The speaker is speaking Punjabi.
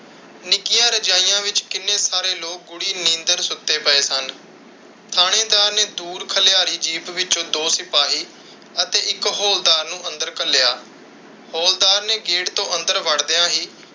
ਨਿੱਕੀਆਂ ਰਜ਼ਾਈਆਂ ਵਿਚ ਕਿੰਨੇ ਸਾਰੇ ਲੋਕ ਗੂੜੀ ਨੀਂਦਰ ਸੁੱਤੇ ਪਏ ਸਨ। ਥਾਣੇਦਾਰ ਨੇ ਦੂਰ ਖਲਿਆਰੀ ਜੀਪ ਵਿੱਚੋਂ ਦੋ ਸਿਪਾਹੀ ਅਤੇ ਇਕ ਹੌਲਦਾਰ ਨੂੰ ਅੰਦਰ ਘੱਲਿਆ। ਹੌਲਦਾਰ ਨੇ ਗੇਟ ਤੋਂ ਅੰਦਰ ਵੜਦਿਆਂ ਹੀ।,